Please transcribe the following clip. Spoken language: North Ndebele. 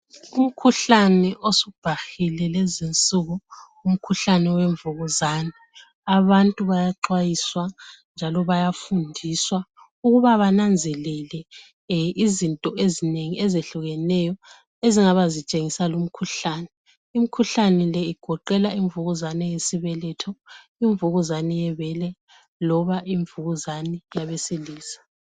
Umkhuhlane osubhahile lezi insuku umkhuhlane wemvukuzane. Abantu bayaxwayiswa njalo bayafundiswa ukuba bananzelele izinto ezinengi ezehlukeneyo ezingabe zitshengisa lumkhuhlane Imkhuhlane le igoqela imvukuzane yesibeletho, imvukuzane yebele loba imvukuzane abesilisa.